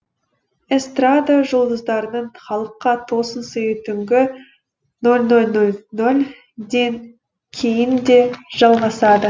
эстрада жұлдыздарының халыққа тосын сыйы түнгі нөл нөл нөл нөлден кейін де жалғасады